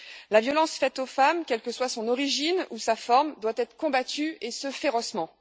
La violence faite aux femmes, quelle que soit son origine ou sa forme, doit être combattue, et ce férocement.